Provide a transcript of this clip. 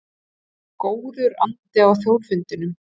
Góður andi á Þjóðfundinum